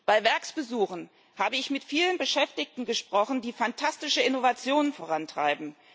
Bei Werksbesuchen habe ich mit vielen Beschäftigten gesprochen, die fantastische Innovationen vorantreiben.